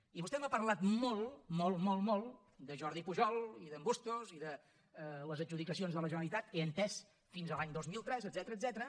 i vostè m’ha parlat molt molt molt molt de jordi pujol i d’en bustos i de les adjudicacions de la generalitat he entès fins a l’any dos mil tres etcètera